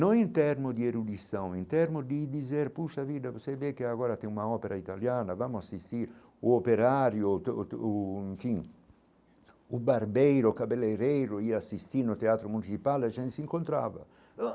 Não em termos de erudição, em termos de dizer, poxa a vida, você vê que agora tem uma ópera italiana, vamos assistir o operário, o enfim, o barbeiro, o cabeleireiro, ir assistir no Teatro Municipal, a gente se encontrava.